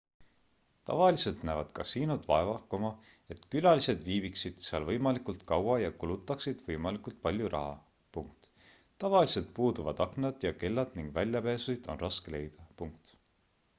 tavaliselt näevad kasiinod vaeva et külalised viibiksid seal võimalikult kaua ja kulutaksid võimalikult palju raha tavaliselt puuduvad aknad ja kellad ning väljapääsusid on raske leida